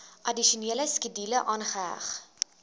addisionele skedule aangeheg